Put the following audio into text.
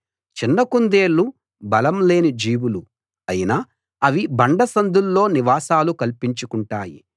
చిన్న కుందేళ్లు బలం లేని జీవులు అయినా అవి బండ సందుల్లో నివాసాలు కల్పించుకుంటాయి